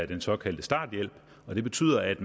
den såkaldte starthjælp og det betyder at